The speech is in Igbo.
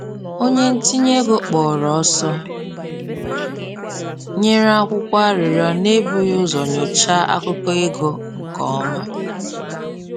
Onye ntinye ego kpọrọ ọsọ nyere akwụkwọ arịrịọ n’ebughị ụzọ nyochaa akụkọ ego nke ọma